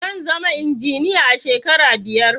zanzama injiniya a shekara biyar